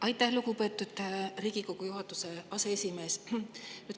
Aitäh, lugupeetud Riigikogu aseesimees!